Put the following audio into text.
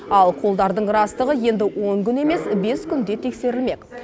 ал қолдардың растығы енді он күн емес бес күнде тексерілмек